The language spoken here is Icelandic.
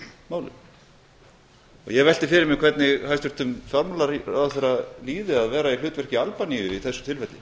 málum ég velti fyrir mér hvernig hæstvirtum fjármálaráðherra líði að vera í hlutverki albaníu í þessu tilfelli